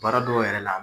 Baara dɔw yɛrɛ la